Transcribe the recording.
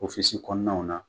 Ofisi bɛ kɔnɔnaw na